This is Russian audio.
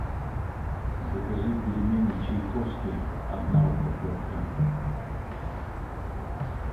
закажи пельмени чайковские одна упаковка